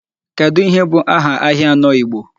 Kedu ihe bụ aha ahịa anọ Igbo?